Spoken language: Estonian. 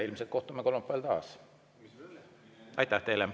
Ilmselt kohtume kolmapäeval taas.